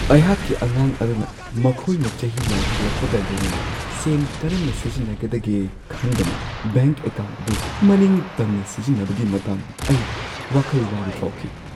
ꯑꯩꯍꯥꯛꯛꯤ ꯑꯉꯥꯡ ꯑꯗꯨꯅ ꯃꯈꯣꯏꯅ ꯆꯍꯤ ꯌꯥꯝꯈꯠꯂꯛꯄꯒ ꯂꯣꯏꯅꯅ ꯁꯦꯟ ꯀꯔꯝꯅ ꯁꯤꯖꯤꯟꯅꯒꯗꯒꯦ ꯈꯪꯗꯅ ꯕꯦꯡꯛ ꯑꯦꯀꯥꯎꯟꯠ ꯑꯗꯨ ꯃꯅꯤꯡ ꯇꯝꯅ ꯁꯤꯖꯤꯟꯅꯕꯒꯤ ꯃꯇꯥꯡꯗ ꯑꯩ ꯋꯥꯈꯜ ꯋꯥꯕ ꯐꯥꯎꯈꯤ ꯫